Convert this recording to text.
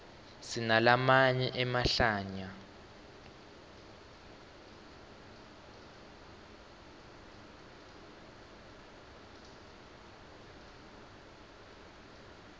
sinalamanye emahlaya